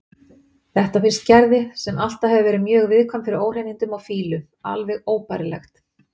Þetta finnst Gerði, sem alltaf hefur verið mjög viðkvæm fyrir óhreinindum og fýlu, alveg óbærilegt.